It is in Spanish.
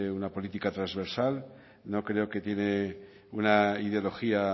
una política trasversal no creo que tenga una ideología